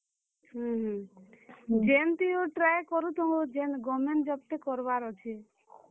ହୁଁ ହୁଁ, ଯେନ୍ ଥି ହଉ try କରୁଥାଉଁ ହୋ, ଯେନ୍ government job ଟେ କରବାର୍ ଅଛେ।